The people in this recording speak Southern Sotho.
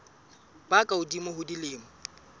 ba ka hodimo ho dilemo